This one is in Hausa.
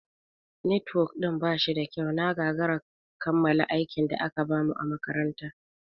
Netwok ɗin ba shida kyau, na gagara kammala aikin da aka bamu a makaranta.